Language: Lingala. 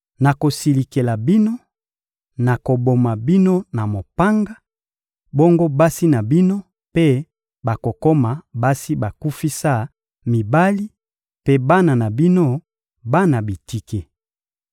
Nakosilikela bino, nakoboma bino na mopanga; bongo basi na bino mpe bakokoma basi bakufisa mibali mpe bana na bino, bana bitike.